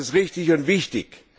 Das ist richtig und wichtig.